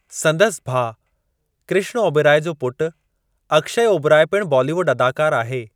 संदसि भाउ कृष्ण ओबरोई जो पुटु अक्षय ओबराई पिणु बॉलीवुड अदाकार आहे।